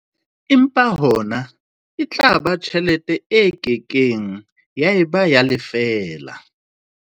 Empa hona e tla ba tjhelete e ke keng ya eba ya lefeela.